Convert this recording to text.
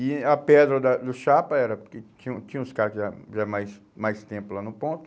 E a pedra da do chapa era, porque tinha tinha os caras que eram que já mais mais tempo lá no ponto.